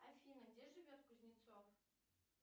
афина где живет кузнецов